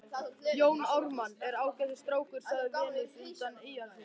Jón Ármann er ágætis strákur, sagði Venus undan Eyjafjöllum.